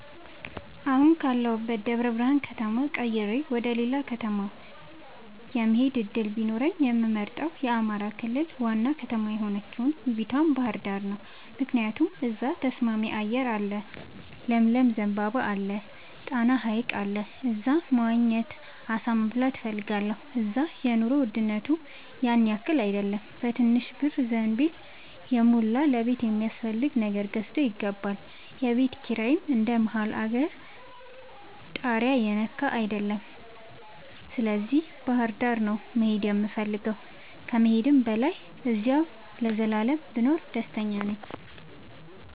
አሁን ካለሁበት ደብረብርሃን ከተማ ቀይሬ ወደሌላ ከተማ የመሆድ እድል ቢኖረኝ የምመርጠው የአማራ ክልል ዋና ከተማ የሆነችውን ውቡቷ ባህርዳርን ነው። ምክንያቱም እዛ ተስማሚ አየር አለ ለምለም ዘንባባ አለ። ጣና ሀይቅ አለ እዛ መዋኘት አሳ መብላት እፈልጋለሁ። እዛ የኑሮ ውድነቱም ያንያክል አይደለም በትንሽ ብር ዘንቢልን የሞላ ለቤት የሚያስፈልግ ነገር ገዝቶ ይገባል። የቤት ኪራይም እንደ መሀል አገር ታሪያ የነካ አይደለም ስለዚህ ባህርዳር ነው መሄድ የምፈልገው ከመሄድም በላይ አዚያው ለዘላለም ብኖር ደስተኛ ነኝ።